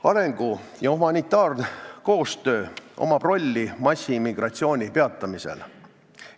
Arengu- ja humanitaarkoostööl on roll massiimmigratsiooni peatamisel.